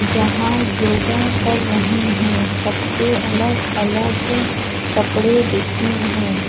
जहाँ योगा कर रहे है सब के अलग-अलग कपड़े बिछे हैं।